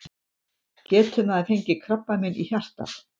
Getur maður fengið krabbamein í hjartað?